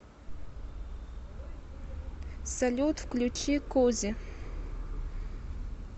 салют включи кози